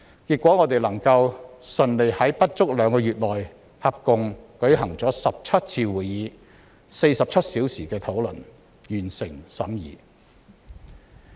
結果我們順利在不足兩個月內舉行了合共17次會議、進行了47小時的討論，完成審議相關法案。